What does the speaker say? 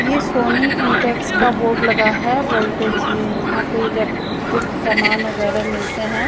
ये Sony Intex का board लगा है वोल्टेज ये यहां पे इलेक्ट्रिक सामान वगैरह मिलते हैं।